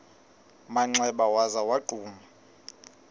manxeba waza wagquma